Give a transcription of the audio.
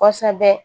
Kɔsɛbɛ